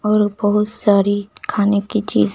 और बहुत सारी खाने की चीज--